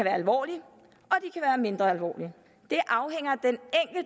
alvorlige og mindre alvorlige det afhænger